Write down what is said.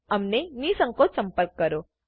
અમને નિઃસંકોચ સંપર્ક કરો